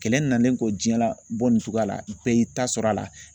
Kɛlɛ nalen kɔ jiyɛn la bɔ nin cogoya la bɛɛ y'i ta sɔrɔ a la.